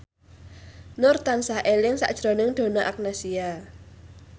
Nur tansah eling sakjroning Donna Agnesia